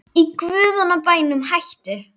Í guðanna bænum hættu